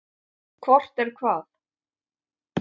Hvort er hvað?